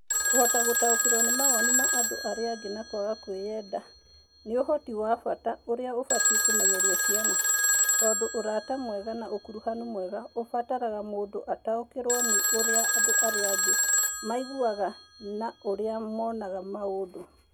Kũhota gũtaũkĩrũo nĩ mawoni ma andũ arĩa angĩ na kwaga kwĩyenda nĩ ũhoti wa bata ũrĩa ũbatiĩ kũmenyererio ciana, tondũ ũrata mwega na ũkuruhanu mwega ũbataraga mũndũ ataũkĩrũo nĩ ũrĩa andũ arĩa angĩ maiguaga na ũrĩa monaga maũndũ.